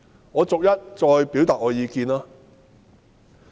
我逐一表達我的意見。